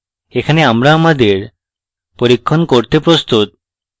এখন আমরা আমাদের পরীক্ষণ করতে প্রস্তুত